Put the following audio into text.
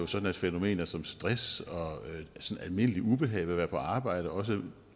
sådan at fænomener som stress og sådan almindeligt ubehag ved at være på arbejde og også